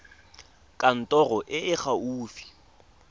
kantorong e e fa gaufi